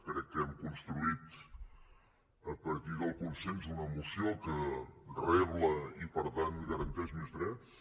crec que hem construït a partir del consens una moció que rebla i per tant garanteix més drets